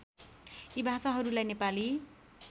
यी भाषाहरूलाई नेपाली